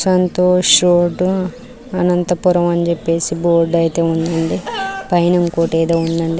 Santosh shirt Anantapuram అనీ చెప్పేసి board ఐతే ఉంది పైన ఏమో ఉంది అండి.